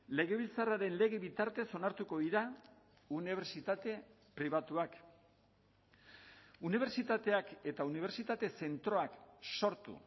legebiltzarraren lege bitartez onartuko dira unibertsitate pribatuak unibertsitateak eta unibertsitate zentroak sortu